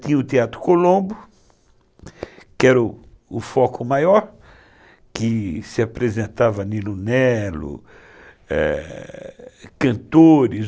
Tinha o Teatro Colombo, que era o foco maior, que se apresentava nilo-nelo, cantores.